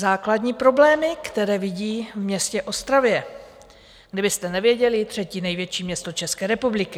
Základní problémy, které vidí v městě Ostravě - kdybyste nevěděli, třetí největší město České republiky.